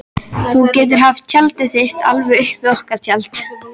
Þú getur haft tjaldið þitt alveg upp við okkar tjald.